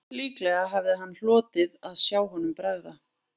Líklega hefði hann hlotið að sjá honum bregða